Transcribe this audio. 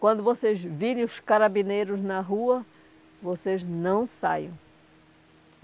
Quando vocês virem os carabineiros na rua, vocês não saiam.